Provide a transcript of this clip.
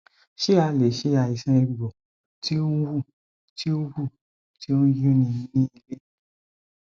ṣé a lè ṣe àìsàn egbo ti o n wu ti o wu ti o nyun ni nílé